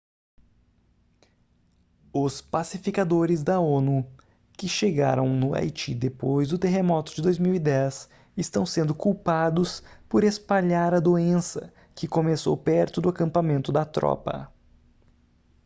os pacificadores da onu que chegaram no haiti depois do terremoto de 2010 estão sendo culpados por espalhar a doença que começou perto do acampamento da tropa